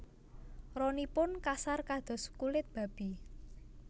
Ronipun kasar kados kulit babi